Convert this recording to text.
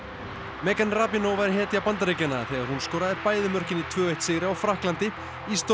megan var hetja Bandaríkjanna en hún skoraði bæði mörkin í tvo til sigri á Frakklandi í